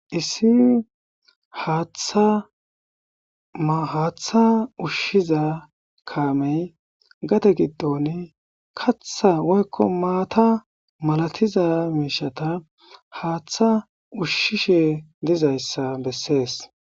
Issi haaththa ushshiza kamey gade giddoni kaththa woyikko mata milatiza mishshata haaththa ushshishe dizayisa besees